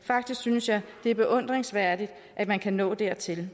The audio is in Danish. faktisk synes jeg det er beundringsværdigt at man kan nå dertil